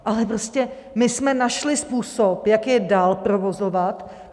Ale prostě my jsme našli způsob, jak je dál provozovat.